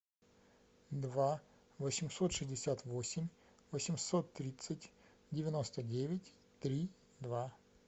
два восемьсот шестьдесят восемь восемьсот тридцать девяносто девять три два